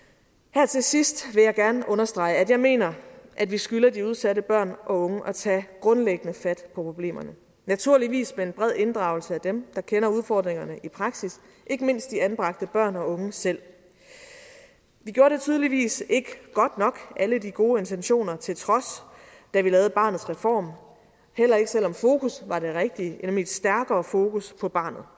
her til sidst vil jeg gerne understrege at jeg mener at vi skylder de udsatte børn og unge at tage grundlæggende fat på problemerne naturligvis med en bred inddragelse af dem der kender udfordringerne i praksis ikke mindst de anbragte børn og unge selv vi gjorde det tydeligvis ikke godt nok alle de gode intentioner til trods da vi lavede barnets reform heller ikke selv om fokus var det rigtige nemlig et stærkere fokus på barnet